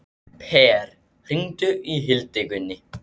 Per, hringdu í Hildigunni.